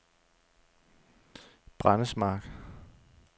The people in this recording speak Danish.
Brændesmark